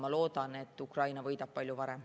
Ma loodan, et Ukraina võidab palju varem.